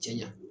Cɛɲa